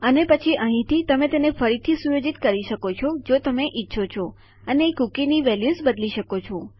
અને પછી અહીંથી તમે તેને ફરીથી સુયોજિત કરી શકો છો જો તમે ઈચ્છો અને કૂકીની વેલ્યુઝ બદલી શકો છો